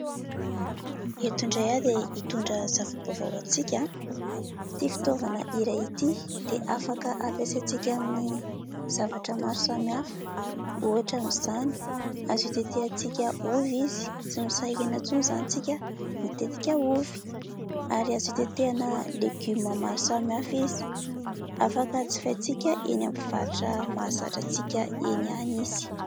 Eto indray aho dia hitondra zava-baovao ho antsika. Ity fitaovana iray ity dia afaka ampiasaintsika amin'ny zavatra maro samihafa. Ohatra amin'izany : azo itetehantsika ovy izy ; tsy misahirana intsony izany isika mitetika ovy ; ary azo itetehana legioma maro samy hafa izy. Afaka jifaintsika eny amin'ny mpivarotra mahazatra antsika eny ihany izy.